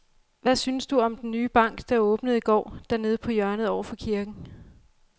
Hvad synes du om den nye bank, der åbnede i går dernede på hjørnet over for kirken?